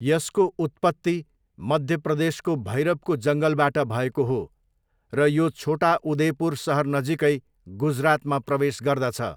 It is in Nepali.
यसको उत्पत्ति मध्य प्रदेशको भैरवको जङ्गलबाट भएको हो र यो छोटा उदेपुर सहर नजिकै गुजरातमा प्रवेश गर्दछ।